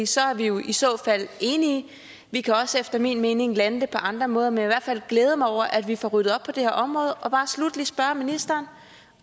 så er vi jo i så fald enige vi kan efter min mening også lande det på andre måder men i hvert fald glæde mig over at vi får ryddet op på det her område og bare sluttelig spørge ministeren